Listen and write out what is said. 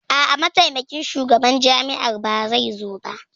A'a, Mataimakin Shugaban Jami'ar ba zai zo ba.